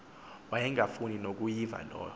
wayengafuni nokuyiva loo